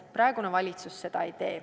Praegune valitsus seda ei tee.